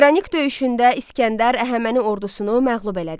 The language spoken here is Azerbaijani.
Qranik döyüşündə İsgəndər Əhəməni ordusunu məğlub elədi.